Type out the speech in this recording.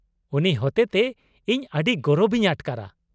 ᱩᱱᱤ ᱦᱚᱛᱮᱛᱮ ᱤᱧ ᱟᱹᱰᱤ ᱜᱚᱨᱚᱵ ᱤᱧ ᱟᱴᱠᱟᱨᱟ ᱾